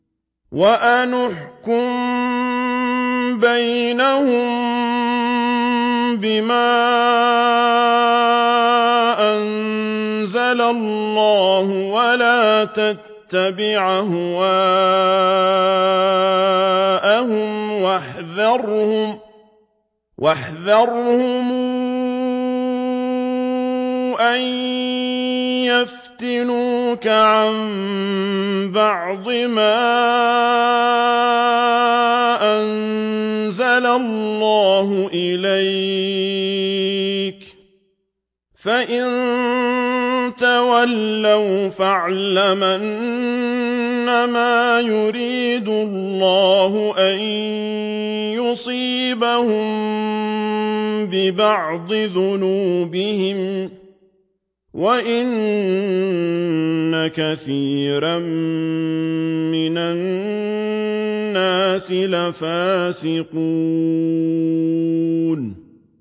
وَأَنِ احْكُم بَيْنَهُم بِمَا أَنزَلَ اللَّهُ وَلَا تَتَّبِعْ أَهْوَاءَهُمْ وَاحْذَرْهُمْ أَن يَفْتِنُوكَ عَن بَعْضِ مَا أَنزَلَ اللَّهُ إِلَيْكَ ۖ فَإِن تَوَلَّوْا فَاعْلَمْ أَنَّمَا يُرِيدُ اللَّهُ أَن يُصِيبَهُم بِبَعْضِ ذُنُوبِهِمْ ۗ وَإِنَّ كَثِيرًا مِّنَ النَّاسِ لَفَاسِقُونَ